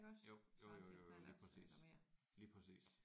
Jo jo jo jo jo lige præcis. Lige præcis